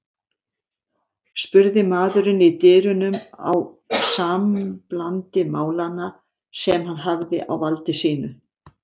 spurði maðurinn í dyrunum á samblandi málanna sem hann hafði á valdi sínu.